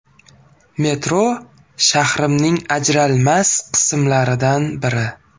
Metro shahrimning ajralmas qismlaridan biri.